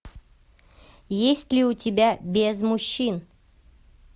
есть ли у тебя без мужчин